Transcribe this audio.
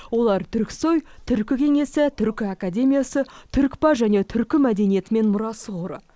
олар түрксой түркі кеңесі түркі академиясы түркпа және түркі мәдениеті мен мұрасы қоры